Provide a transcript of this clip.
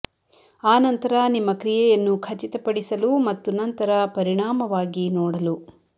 ಆ ನಂತರ ನಿಮ್ಮ ಕ್ರಿಯೆಯನ್ನು ಖಚಿತಪಡಿಸಲು ಮತ್ತು ನಂತರ ಪರಿಣಾಮವಾಗಿ ನೋಡಲು